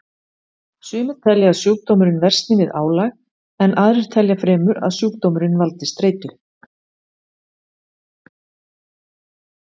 Sumir telja að sjúkdómurinn versni við álag en aðrir telja fremur að sjúkdómurinn valdi streitu.